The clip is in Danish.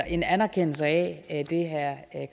en anerkendelse af det herre